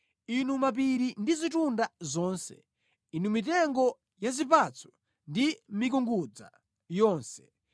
inu mapiri ndi zitunda zonse, inu mitengo ya zipatso ndi mikungudza yonse,